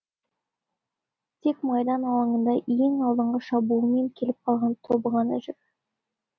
тек майдан алаңында ең алдыңғы шабуылмен келіп қалған тобы ғана жүр